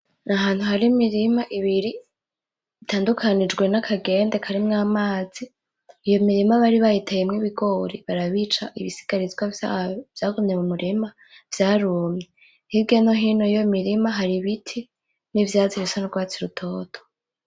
N'Ahantu hari Imirima ibiri itandukanijwe nakagende karimwo amazi, iyo mirima bari bayiteyemwo Ibigori barabica, ibisigarizwa vyavyo vyagumye m'umurima vyarumye. Hirya nohino yiyo mirima hari Ibiti n'ivyatsi bisa n'urwatsi rutoto.